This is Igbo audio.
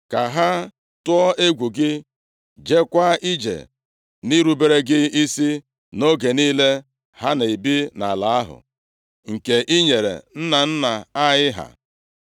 ka ha tụọ egwu gị, jeekwa ije nʼirubere gị isi nʼoge niile ha na-ebi nʼala ahụ nke i nyere nna nna anyị ha.